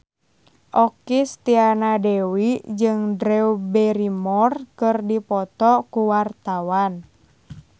Okky Setiana Dewi jeung Drew Barrymore keur dipoto ku wartawan